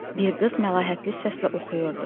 Bir qız məlahətli səslə oxuyurdu.